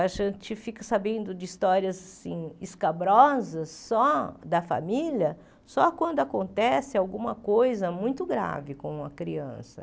A gente fica sabendo de histórias assim escabrosas só da família, só quando acontece alguma coisa muito grave com uma criança.